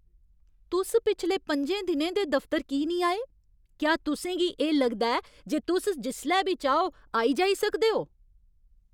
तुस पिछले पंजें दिनें दे दफतर की नेईं आए ? क्या तुसें गी एह् लगदा ऐ जे तुस जिसलै बी चाहो आई जाई सकदे ओ?